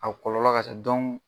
A kɔlɔlɔ ka ca .